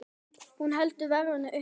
Hún heldur verðinu uppi.